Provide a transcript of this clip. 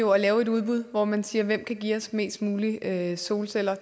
jo at lave et udbud hvor man siger hvem kan give os mest muligt af solceller